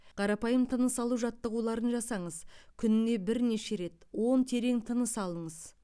қарапайым тыныс алу жаттығуларын жасаңыз күніне бірнеше рет он терең тыныс алыңыз